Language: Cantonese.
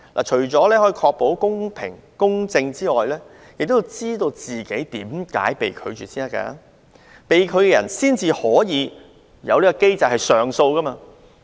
除可確保公平公正外，也讓申請人知道自己為何被拒，從而按機制提出上訴。